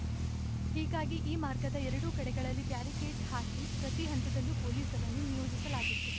ಹೀಗಾಗಿ ಈ ಮಾರ್ಗದ ಎರಡು ಕಡೆಗಳಲ್ಲಿ ಬ್ಯಾರಿಕೇಡ್‌ ಹಾಕಿ ಪ್ರತಿ ಹಂತದಲ್ಲೂ ಪೊಲೀಸರನ್ನು ನಿಯೋಜಿಸಲಾಗಿತ್ತು